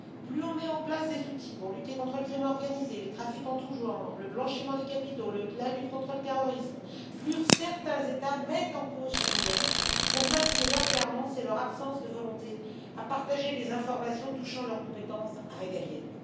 Plus on met en place des outils pour lutter contre la criminalité organisée, les trafics en tout genre, le blanchiment des capitaux, la lutte contre le terrorisme, plus certains États mettent en cause Schengen pour masquer leurs carences et leur absence de volonté à partager des informations touchant leurs compétences régaliennes.